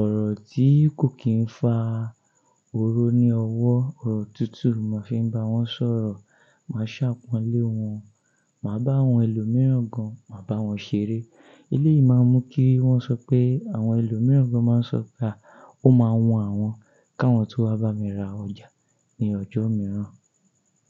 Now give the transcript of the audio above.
ọ̀rọ̀ tí kò kí ń fa oró ní ọwọ́, ọ̀rọ̀ tútù mo fi ń bá wọn sọ̀rọ̀. Máa ṣàpọ̀n lé wọn, màá bá àwọn ẹlòmíràn gan, màá bá wọn ṣeré. Ilé yìí máa ń mú kí wọ́n sọ pé àwọn ẹlòmíràn gan máa ń sọ pé a, ó máa wu àwọn káwọn tun wá bá mi ra ọjà ní ọjọ́ mìíràn.